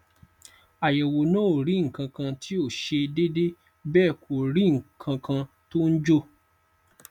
àyẹwò náà ò rí nǹkankan tí ò ṣe déédé bẹẹ kò rí nǹkankan tó ń jò